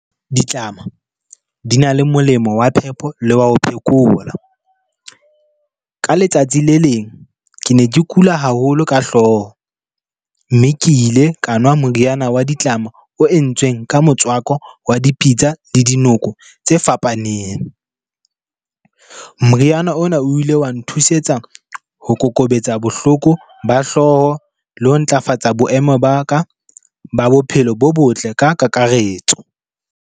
Ditlama di na le molemo wa phepo le wa ho phekola. Ka letsatsi le leng, ke ne ke kula haholo ka hlooho. Mme ke ile ka nwa moriana wa ditlama o entsweng ka motswako wa dipitsa le dinoko tse fapaneng. Moriana ona o ile wa nthusetsa ho kokobetsa bohloko ba hlooho, le ho ntlafatsa boemo ba ka ba bophelo bo botle ka kakaretso.